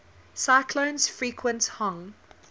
cyclones frequent hong